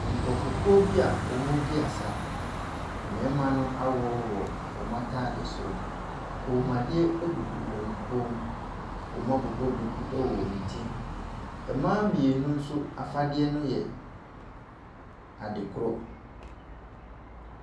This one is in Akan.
Nkrɔfokuo bi a wɔredi asa. Mmarima no aworɔworɔ wɔn ataadesoro. Koomuadeɛ gugu wɔn kɔn mu. Wɔabobɔ duku wɔ wɔn ti. Mmaa mmienu nso afadeɛ no yɛ ade korɔ.